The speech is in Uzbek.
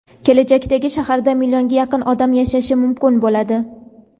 kelajakdagi shaharda millionga yaqin odam yashashi mumkin bo‘ladi.